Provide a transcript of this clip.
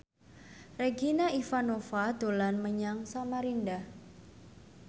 Regina Ivanova dolan menyang Samarinda